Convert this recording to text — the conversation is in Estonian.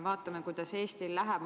Vaatame, kuidas Eestil läheb.